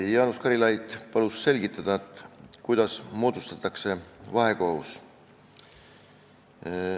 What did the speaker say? Jaanus Karilaid palus selgitada, kuidas moodustatakse vahekohus.